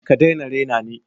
ka dai na rena ni.